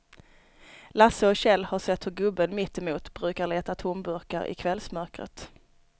Lasse och Kjell har sett hur gubben mittemot brukar leta tomburkar i kvällsmörkret.